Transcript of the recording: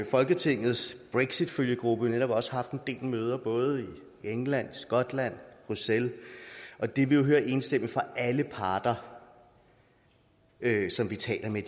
folketingets brexitfølgegruppe netop også haft en del møder både i england skotland og bruxelles og det vi jo hører enstemmigt fra alle parter som vi taler med